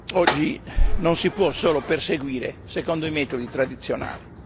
oggi non si può solo perseguire secondo i metodi tradizionali.